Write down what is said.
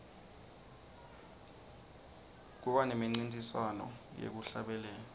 kuba nemincintiswano yekuhlabelela